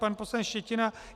Pan poslanec Štětina.